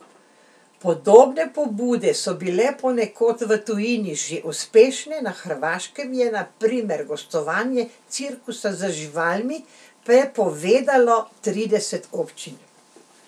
Podobne pobude so bile ponekod v tujini že uspešne, na Hrvaškem je na primer gostovanje cirkusa z živalmi prepovedalo trideset občin.